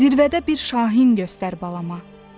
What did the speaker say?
Zirvədə bir şahin göstər balama.